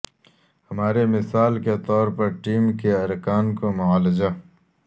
ہماری مثال کے طور پر ٹیم کے ارکان کو معالجہ